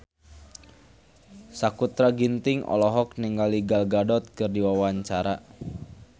Sakutra Ginting olohok ningali Gal Gadot keur diwawancara